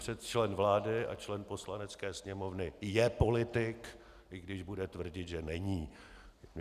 Člen vlády a člen Poslanecké sněmovny je politik, i když bude tvrdit, že není.